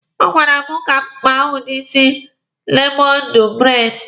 Ọ gwara m ka m kpa ya udi isi lemọndụ braidi.